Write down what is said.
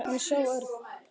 Hann sá Örn og